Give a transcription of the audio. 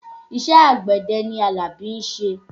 Iṣẹ́ àgbẹ̀dẹ ni Àlàbí ń ṣe